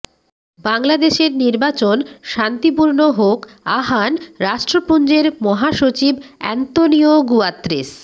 বাংলাদেশের নির্বাচন শান্তিপূর্ণ হোক আহ্বান রাষ্ট্রপুঞ্জের মহাসচিব অ্যান্তোনিও গুয়াত্রেস